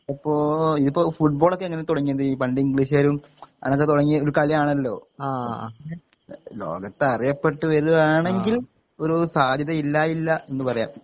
അപ്പൊ ഇനീപ്പോ ഫുഡ്ബോളൊക്കെ എങ്ങനെ തൊടങ്ങിയത് പണ്ട് ഇംഗ്ളീഷാരും അങ്ങനെ തുടങ്ങിയ ഒരു കളിയാണല്ലോ ലോകത്തറിയപ്പെട്ടു വരുവാണെങ്കിൽ ഒരു സാധ്യതയില്ലായില്ല ഇന്ന് പറയാം